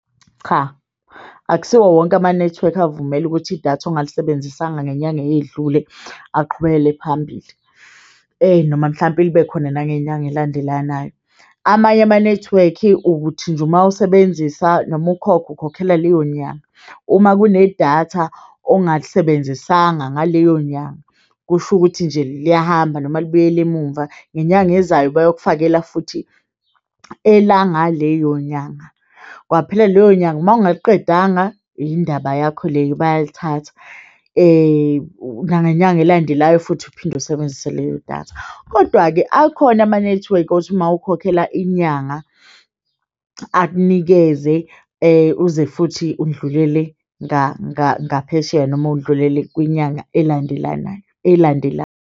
Cha, akusiwo wonke ama nethiwekhi avumela ukuthi idatha ongalisebenzisanga ngenyanga eyedlule aqhubekele phambili noma mhlampe ibe khona nangenyanga elandelanayo. Amanye ama nethiwekhi uthi nje mawisebenzisa noma ukhokhe ukhokhela leyo nyanga uma kunedatha ongalisebenzisanga ngaleyo nyanga, kusho ukuthi nje liyahamba noma libuyel'emumva. Ngenyanga ezayo bayokufakela futhi elanga leyo nyanga kwaphela leyo nyanga mawungaliqedanga indaba yakho leyo, bayalithatha nangenyanga elandelayo futhi uphinde usebenzise leyo datha, kodwa-ke akhona ama nethiwekhi othi uma ukhokhela inyanga akunikeze uze futhi udlulele ngaphesheya noma udlulele kwinyanga elandelanayo elandelayo.